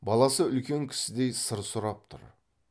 баласы үлкен кісідей сыр сұрап тұр